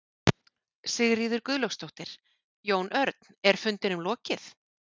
Sigríður Guðlaugsdóttir: Jón Örn, er fundinum lokið?